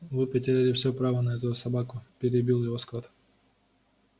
вы потеряли всё права на эту собаку перебил его скотт